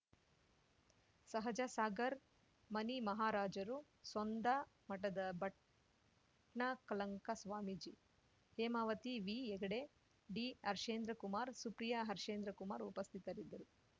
ಸಹಜಸಾಗರ್ ಮನಿಮಹಾರಾಜರು ಸೋಂದಾ ಮಠದ Bhattakalanka Swamiji Hemavathi V Heggade D Harshendra Kumar Supriya Harshendra Kumar ಉಪಸ್ಥಿತರಿದ್ದರು